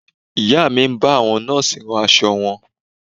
Ìyá mi ń bá àwọn Nọ́ọ̀sì rán aṣọ wọn